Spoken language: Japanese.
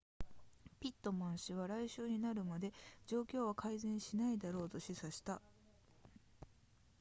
ピットマン氏は来週になるまで状況は改善しないだろうと示唆した